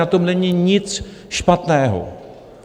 Na tom není nic špatného.